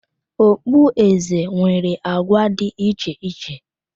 Ogboeze nwere agwa dị iche iche